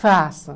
Faço.